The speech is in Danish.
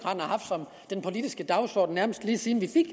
jeg politisk dagsorden nærmest lige siden vi fik